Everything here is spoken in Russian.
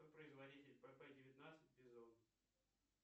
кто производитель пп девятнадцать бизон